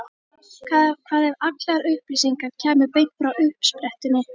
Hvað ef allar upplýsingar kæmu beint frá uppsprettunni?